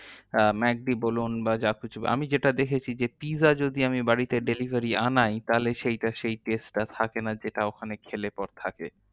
আহ McD বলুন বা যা কিছু। আমি যেটা দেখেছি যে, pizza যদি আমি বাড়িতে delivery আনাই, তাহলে সেইতা সেই test টা থাকে না যেটা ওখানে খেলে পর থাকে।